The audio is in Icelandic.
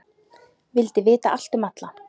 Vildi vita allt um alla.